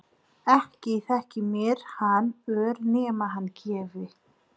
Ekki þyki mér hann ör nema hann gefi.